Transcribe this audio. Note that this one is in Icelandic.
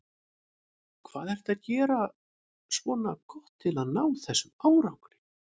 Hvað ertu að gera svona gott til að ná þessum árangri?